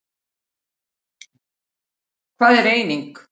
Hvað er eiming?